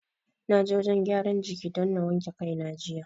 Na je wajen gyaran jiki don na wanke kai na jiya.